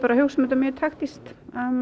hugsum þetta mjög taktískt